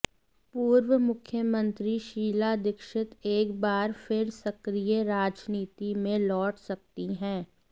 पूर्व मुख्यमंत्री शीला दीक्षित एक बार फिर सक्रिय राजनीति में लौट सकती हैं